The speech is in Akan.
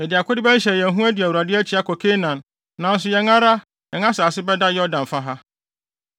yɛde akode bɛhyehyɛ yɛn ho adi Awurade akyi akɔ Kanaan, nanso yɛn ara yɛn asase bɛda Yordan fa ha.”